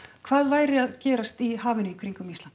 hvað væri að gerast í hafinu í kringum Ísland